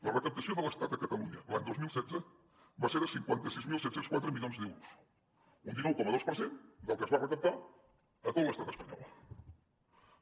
la recaptació de l’estat a catalunya l’any dos mil setze va ser de cinquanta sis mil set cents i quatre milions d’euros un dinou coma dos per cent del que es va recaptar a tot l’estat espanyol la